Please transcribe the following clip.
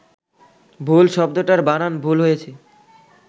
ভুল শব্দটার বানান ভুল হয়েছে